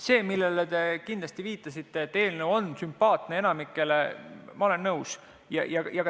Sellega, millele te viitasite – et eelnõu on sümpaatne enamikule –, ma olen nõus.